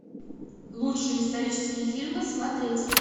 лучшие исторические фильмы смотреть